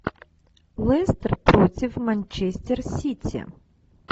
лестер против манчестер сити